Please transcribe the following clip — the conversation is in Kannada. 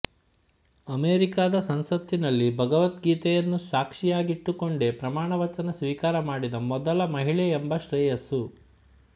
ಅಮೆರಿಕದ ಸಂಸತ್ತಿನಲ್ಲಿ ಭಗವದ್ಗೀತೆಯನ್ನು ಸಾಕ್ಷಿಯಾಗಿಟ್ಟುಕೊಂಡೇ ಪ್ರಮಾಣ ವಚನ ಸ್ವೀಕಾರ ಮಾಡಿದ ಮೊದಲ ಮಹಿಳೆಯೆಂಬ ಶ್ರೇಯಸ್ಸು